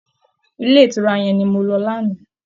Ilé ìtura yẹn ni mo lọ lánàá